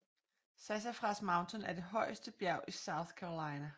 Sassafras Mountain er det højeste bjerg i South Carolina